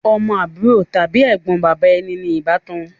Ọmọ àbúrò tàbí Ẹ̀gbọ́n bàbá ẹni ní ọbakan